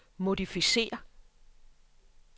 modificér